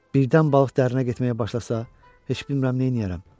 Birdən balıq dərinə getməyə başlasa, heç bilmirəm neyniyərəm.